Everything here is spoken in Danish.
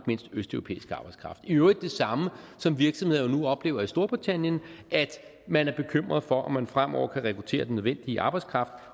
mindst østeuropæisk arbejdskraft i øvrigt det samme som virksomheder nu oplever i storbritannien at man er bekymret for om man fremover kan rekruttere den nødvendige arbejdskraft